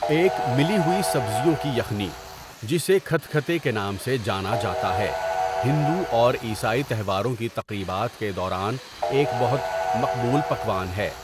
ایک مِلی ہوئی سبزیوں کی یخنی، جسے کھتکھتے کے نام سے جانا جاتا ہے، ہندو اور عیسائی تہواروں کی تقریبات کے دوران ایک بہت مقبول پکوان ہے۔